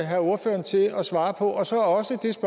have ordføreren til at svare på og så også det